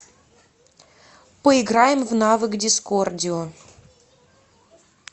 поиграем в навык дискордио